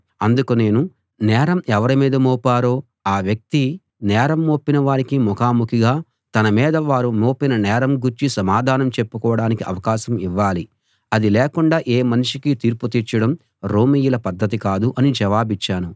అందుకు నేను నేరం ఎవరి మీద మోపారో ఆ వ్యక్తి నేరం మోపిన వారికి ముఖాముఖిగా తన మీద వారు మోపిన నేరం గూర్చి సమాధానం చెప్పుకోడానికి అవకాశం ఇవ్వాలి అది లేకుండా ఏ మనిషికీ తీర్పు తీర్చడం రోమీయుల పద్ధతి కాదు అని జవాబిచ్చాను